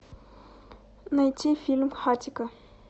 найти фильм хатико